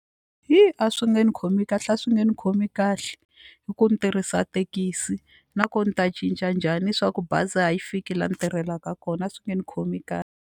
Hi a swi nge ni khomi kahle a swi nge ni khomi kahle hi ku ni tirhisa thekisi nakona ni ta cinca njhani swa ku bazi a yi fiki laha ni tirhelaka kona a swi nge ni khomi .